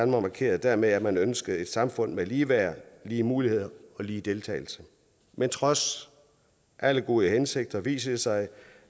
markerede dermed at man ønskede et samfund med ligeværd lige muligheder og lige deltagelse men trods alle gode hensigter vist sig